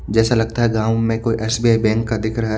जैसा लगता है गावं में कोई एस_बी_आई बैंक का दिख रहा है।